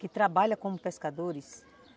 Que trabalha como pescadores?